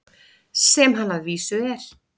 Sem hann að vísu er.